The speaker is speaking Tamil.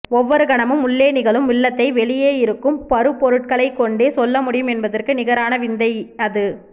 ஒவ்வொரு கணமும் உள்ளே நிகழும் உள்ளத்தை வெளியே இருக்கும் பருப்பொருட்களைக்கொண்டே சொல்லமுடியும் என்பதற்கு நிகரான விந்தை அது